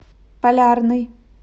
полярный